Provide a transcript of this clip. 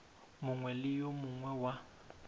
mongwe le yo mongwe wa